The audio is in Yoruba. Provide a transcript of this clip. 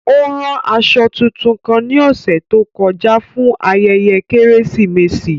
O ran aṣọ tuntun kan ni ọsẹ to kọja fun ayẹyẹ Keresimesi.